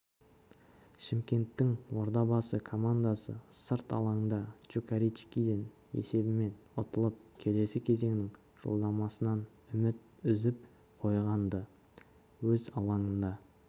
шымкенттің ордабасы командасы сырт алаңда чукаричкиден есебімен ұтылып келесі кезеңнің жолдамасынан үміт үзіп қойған-ды өз алаңында